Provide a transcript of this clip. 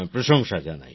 প্রশংসা জানাই